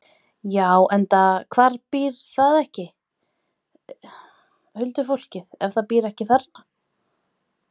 Já, enda, hvar býr það, huldufólkið, ef það býr ekki þarna?